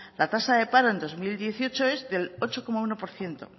la tasa de paro en dos mil dieciocho es del ocho coma uno por ciento